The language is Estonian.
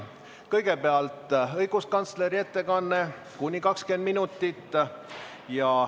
Kõigepealt on õiguskantsleri ettekanne, kuni 20 minutit.